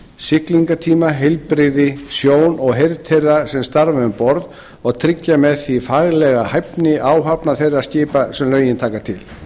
siglingatíma heilbrigði sjón og heyrn þeirra sem starfa um borð og tryggja með því faglega hæfni áhafna þeirra skipa sem lögin taka til